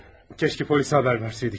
Kəşke polisə xəbər versəydik.